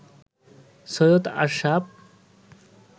Syed Ashraf